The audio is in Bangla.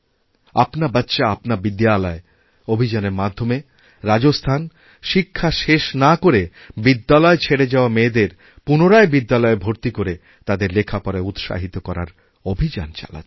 আপনা বাচ্চা আপনাবিদ্যালয় অভিযানের মাধ্যমে রাজস্থান শিক্ষা শেষ না করে বিদ্যালয় ছেড়ে যাওয়ামেয়েদের পুনরায় বিদ্যালয়ে ভর্তি করে তাদের লেখাপড়ায় উৎসাহিত করার অভিযান চালাচ্ছে